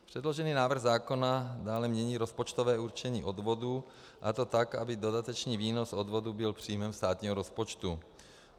Předložený návrh zákona dále mění rozpočtové určení odvodů, a to tak, aby dodatečný výnos odvodů byl příjmem státního rozpočtu.